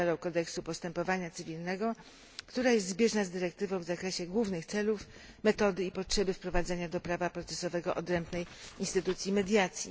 nowelą Kodeksu postępowania cywilnego, która jest zbieżna z dyrektywą w zakresie głównych celów, metody i potrzeby wprowadzania do prawa procesowego odrębnej instytucji mediacji.